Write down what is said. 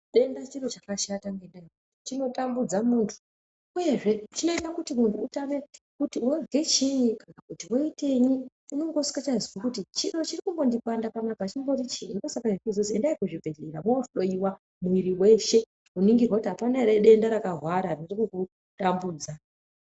Denda chiro chakashata ngendaa chinotambudza muntu. Uyezve chinoita kuti muntu atame kuti wozwe chiini, kana kuti woitenyi . Unenge usingachazwi kuti chiro chinombondipanda panapa chiinyi. Ndosaka kuchizozwi endai kuzvibhedhlera mwohloiwa mwiri weshe kuningirwa kuti apana ere denda rakahwara ririkumutambudza.